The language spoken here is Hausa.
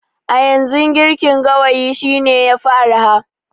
A yanzu, girkin gawayi shine yafi araha.